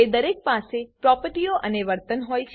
તે દરેક પાસે પ્રોપર્ટીઓ અને વર્તન હોય છે